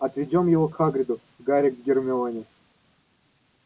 отведём его к хагриду гарри к гермионе